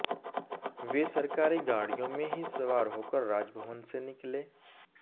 वे सरकारी गाड़ियों में ही सवार होकर राजभवन से निकले